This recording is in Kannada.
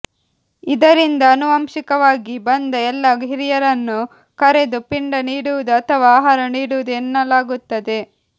ಇದರಿಂದ ಆನುವಂಶಿಕವಾಗಿ ಬಂದ ಎಲ್ಲಾ ಹಿರಿಯರನ್ನು ಕರೆದು ಪಿಂಡ ನೀಡುವುದು ಅಥವಾ ಆಹಾರ ನೀಡುವುದು ಎನ್ನಲಾಗುತ್ತದೆ